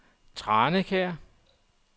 Tranekær